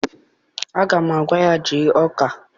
Aga m agwa ya jee Ọka